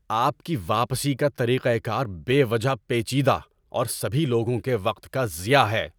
آپ کا واپسی کا طریقۂ کار بے وجہ پیچیدہ اور سبھی لوگوں کے وقت کا ضیاع ہے۔